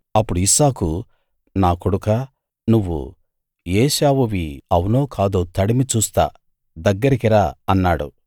అప్పుడు ఇస్సాకు నా కొడుకా నువ్వు ఏశావువి అవునో కాదో తడిమి చూస్తా దగ్గరికి రా అన్నాడు